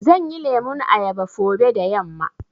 Zanyi lemun ayaba fobe da yamma.